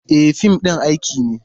E, fim ɗin aiki ne.